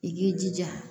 I k'i jija